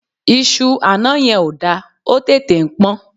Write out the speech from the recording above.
Iṣú àná yẹn ò da, ó tètè ń pọ́n.